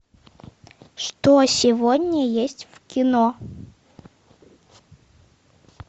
что сегодня есть в кино